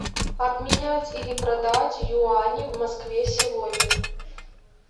обменять или продать юани в москве сегодня